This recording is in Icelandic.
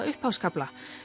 upphafskafla